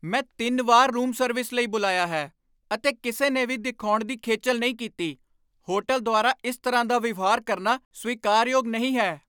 ਮੈਂ ਤਿੰਨ ਵਾਰ ਰੂਮ ਸਰਵਿਸ ਲਈ ਬੁਲਾਇਆ ਹੈ, ਅਤੇ ਕਿਸੇ ਨੇ ਵੀ ਦਿਖਾਉਣ ਦੀ ਖੇਚਲ ਨਹੀਂ ਕੀਤੀ! ਹੋਟਲ ਦੁਆਰਾ ਇਸ ਤਰ੍ਹਾਂ ਦਾ ਵਿਵਹਾਰ ਕਰਨਾ ਸਵੀਕਾਰਯੋਗ ਨਹੀਂ ਹੈ।